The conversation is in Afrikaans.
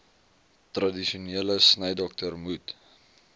tradisionele snydokter moet